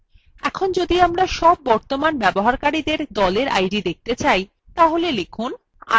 এখন যদি আমরা সব বর্তমান ব্যবহারকারীদের group id দেখতে চাই তাহলে লিখুন